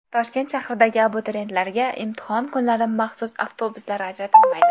Toshkent shahridagi abituriyentlarga imtihon kunlari maxsus avtobuslar ajratilmaydi.